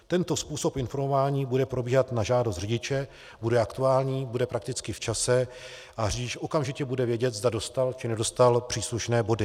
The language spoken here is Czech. Tento způsob informování bude probíhat na žádost řidiče, bude aktuální, bude prakticky v čase a řidič okamžitě bude vědět, zda dostal či nedostal příslušné body.